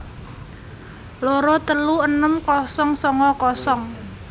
loro telu enem kosong songo kosong